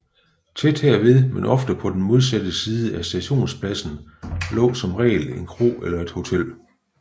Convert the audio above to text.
Tæt herved men ofte på den modsatte side af stationspladsen lå som regel en kro eller et hotel